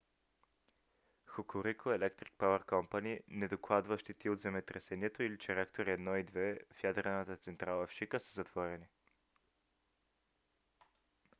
hokuriku electric power co. не докладва щети от земетресението или че реактори 1 и 2 в ядрената централа в шика са затворени